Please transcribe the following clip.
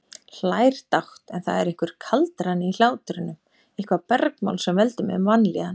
Hlær dátt, en það er einhver kaldrani í hlátrinum, eitthvert bergmál sem veldur mér vanlíðan.